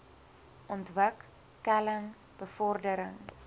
ontwik keling bevordering